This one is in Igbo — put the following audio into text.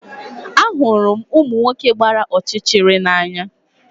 Ahụrụ m ụmụ nwoke gbara ọchịchịrị n'anya